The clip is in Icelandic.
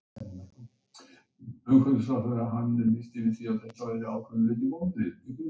Er það fyrir þetta sem að Reykjavíkurlistinn stendur núna?